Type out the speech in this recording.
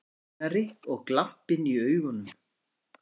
Einari og glampinn í augunum.